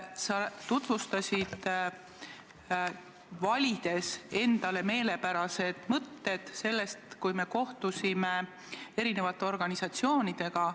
Sa tutvustasid toimunut, valides endale meelepärased mõtted sellest, kui me kohtusime eri organisatsioonidega.